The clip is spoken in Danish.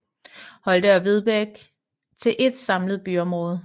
Holte og Vedbæk til ét samlet byområde